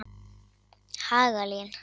Hagalín